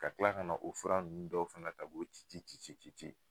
Ka kila ka na u fura nunnu dɔw fana ko ci ci ci ci ci ci